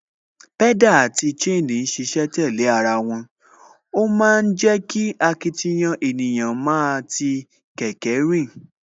Pedal àti chain ń ṣiṣẹ́ tẹ̀lé ara wọn, ó ma ń jẹ́ kí akitiyan ènìyàn máa ti kẹ̀kẹ́ rìn